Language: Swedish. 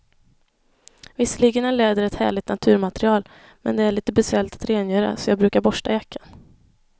Visserligen är läder ett härligt naturmaterial, men det är lite besvärligt att rengöra, så jag brukar borsta jackan.